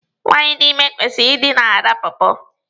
Nwaanyị dị ime kwesịrị ịdị na-ara pọọpọọ.